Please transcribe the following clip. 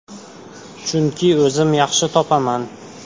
Chunki o‘zim yaxshi topaman.